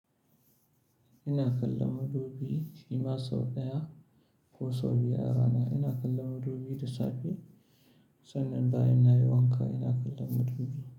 Ina kallon madubi, shi ma sau ɗaya ko sau biyar a rana. Ina kallon madubi da safe sannan bayan nayi wanka ina kallon madubi.